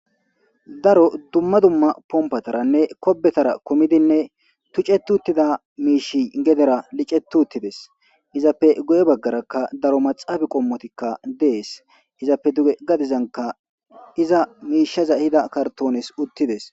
Daro dumma dumma pompataranne kobbetara tuceti uttida miishi geedera licceti utidees.izappe guye baggara daro maxxappe qommoti de'es.izape duge garrssa baggarakka iza misheza ehida kartonezi uttidees.